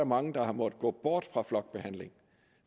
mange der måtte gå bort fra flokbehandling